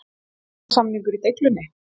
Lánssamningur í deiglunni?